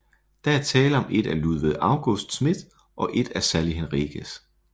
Der er tale om et af Ludvig August Smith og et af Sally Henriques